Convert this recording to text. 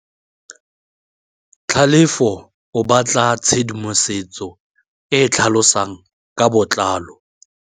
Tlhalefô o batla tshedimosetsô e e tlhalosang ka botlalô.